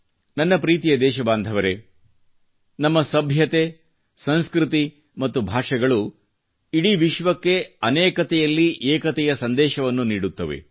ನನ್ನ ಪ್ರೀತಿಯ ದೇಶ ಬಾಂಧವರೆ ನಮ್ಮ ಸಭ್ಯತೆ ಸಂಸ್ಕøತಿ ಮತ್ತು ಭಾಷೆಗಳು ಇಡೀ ವಿಶ್ವಕ್ಕೆ ಅನೇಕತೆಯಲ್ಲಿ ಏಕತೆಯ ಸಂದೇಶವನ್ನು ನೀಡುತ್ತವೆ